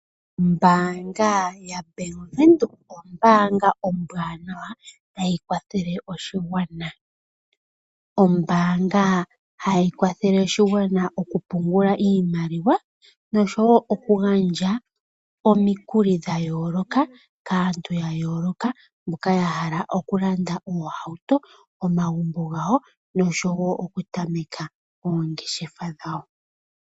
Ombaanga yaBank Windhoek ombaanga ombwaanawa tayi kwathele oshigwana. Ombaanga hayi kwathele oshigwana oku pungula iimaliwa noshowo oku gandja omikuli dha yooloka kaantu ya yooloka mbyoka ya hala oku landa oohauto, omagumbo gayo noshowo oku tameka oongeshefa dhawo.